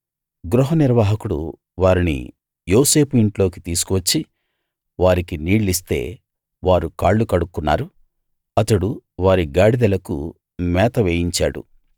గృహనిర్వాహకుడు వారిని యోసేపు ఇంట్లోకి తీసికు వచ్చి వారికి నీళ్ళిస్తే వారు కాళ్ళు కడుక్కున్నారు అతడు వారి గాడిదలకు మేత వేయించాడు